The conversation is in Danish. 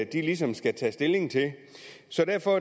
de ligesom skal tage stilling til så derfor